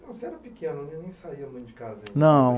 Você era pequeno né, nem saía muito de casa. Não